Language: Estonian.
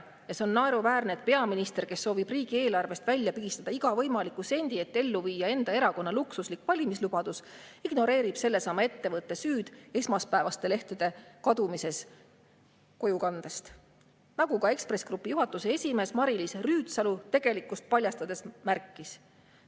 Ja see on naeruväärne, et peaminister, kes soovib riigieelarvest välja pigistada iga võimaliku sendi, et ellu viia enda erakonna luksuslik valimislubadus, ignoreerib sellesama ettevõtte süüd esmaspäevaste lehtede kadumises kojukandest, nagu ka Ekspress Grupi juhatuse esimees Mari-Liis Rüütsalu tegelikkust paljastades märkis.